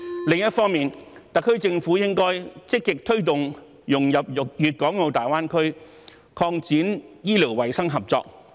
另一方面，特區政府應該積極推動香港融入粵港澳大灣區，並擴展醫療衞生合作。